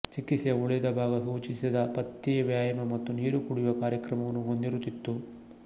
ಚಿಕಿತ್ಸೆಯ ಉಳಿದ ಭಾಗ ಸೂಚಿಸಿದ ಪಥ್ಯೆ ವ್ಯಾಯಾಮ ಮತ್ತು ನೀರು ಕುಡಿಯುವ ಕಾರ್ಯಕ್ರಮವನ್ನು ಹೊಂದಿರುತ್ತಿತ್ತು